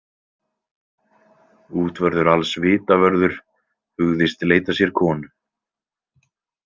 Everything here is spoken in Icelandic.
Útvörður alls Vitavörður hugðist leita sér konu.